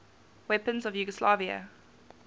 weapons of yugoslavia